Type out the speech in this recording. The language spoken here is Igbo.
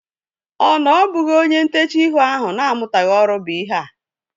Ọ na ọ bụghị onye ntechaa ihu ahu na-amutaghi ọrụ bụ ihea?